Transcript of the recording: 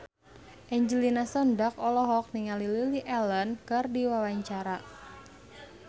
Angelina Sondakh olohok ningali Lily Allen keur diwawancara